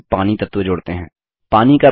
drawing में अब पानी तत्व जोड़ते हैं